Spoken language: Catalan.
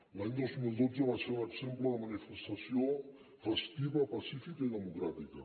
l’any dos mil dotze va ser un exemple de manifestació festiva pacífica i democràtica